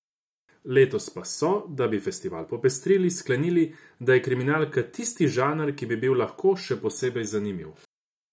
Letos pa so, da bi festival popestrili, sklenili, da je kriminalka tisti žanr, ki bi bil lahko še posebej zanimiv.